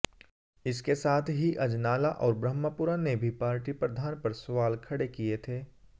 इसके साथ ही अजनाला और ब्रह्मपुरा ने भी पार्टी प्रधान पर सवाल खड़े किये थे